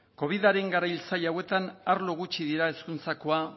covidaren garai zail hauetan arlo gutxi dira hezkuntzakoa